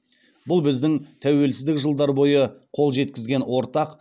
бұл біздің тәуелсіздік жылдар бойы қол жеткізген ортақ